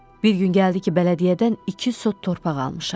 Bir gün gəldi ki, bələdiyyədən iki sot torpaq almışam.